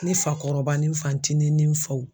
Ni fakɔrɔba ni fancinin ni faw